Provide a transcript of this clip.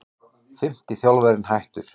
Fimmti þjálfarinn hættur